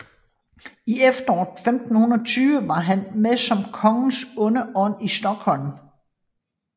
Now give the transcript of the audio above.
I efteråret 1520 var han med som kongens onde ånd i Stockholm